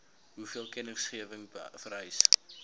hoeveel kennisgewing vereis